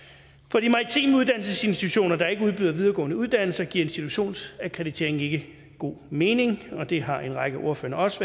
for de maritime uddannelsesinstitutioner der ikke udbyder videregående uddannelser giver institutionsakkreditering ikke god mening og det har en række af ordførerne også